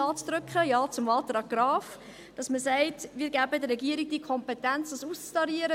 Ja zu drücken, Ja zum Antrag Graf – zu sagen: Wir geben der Regierung die Kompetenz, dies auszutarieren.